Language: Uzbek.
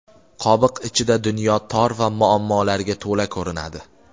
"Qobiq" ichida dunyo tor va muammolarga to‘la ko‘rinadi.